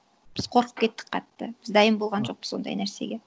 біз қорқып кеттік қатты біз дайын болған жоқпыз ондай нәрсеге